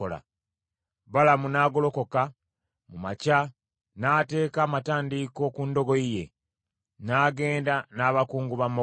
Balamu n’agolokoka mu makya, n’ateeka amatandiiko ku ndogoyi ye, n’agenda n’abakungu ba Mowaabu.